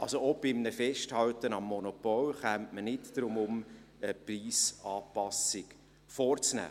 Auch bei einem Festhalten am Monopol käme man nicht darum herum, eine Preisanpassung vorzunehmen.